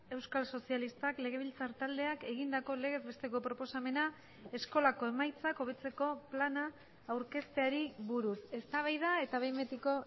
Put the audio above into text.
euskal sozialistak legebiltzar taldeak egindako legez besteko proposamena eskolako emaitzak hobetzeko plana aurkezteari buruz eztabaida eta behin betiko